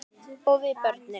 Og við börnin.